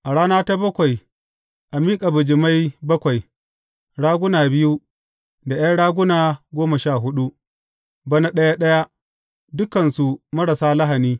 A rana ta bakwai a miƙa bijimai bakwai, raguna biyu da ’yan raguna goma sha huɗu, bana ɗaya ɗaya, dukansu marasa lahani.